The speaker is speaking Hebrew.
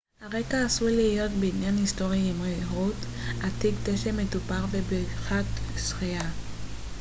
הרקע עשוי להיות בניין היסטורי עם ריהוט עתיק דשא מטופח ובריכת שחייה